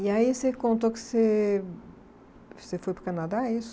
E aí você contou que você você foi para o Canadá, isso?